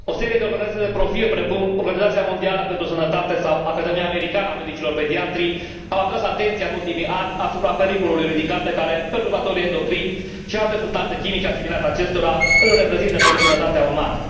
O serie de organizații de profil, precum Organizația Mondială pentru Sănătate sau Academia Americană a Medicilor Pediatri, au atras atenția în ultimii ani asupra pericolului ridicat pe care perturbatorii endocrini și alte substanțe chimice asimilate acestora îl reprezintă pentru sănătatea umană.